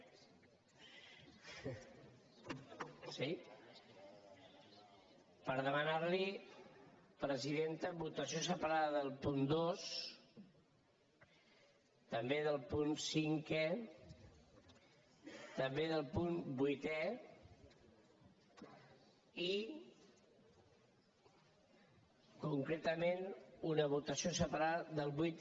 sí per demanar li presidenta votació separada del punt dos també del punt cinquè també del punt vuitè i concretament una votació separada del vuit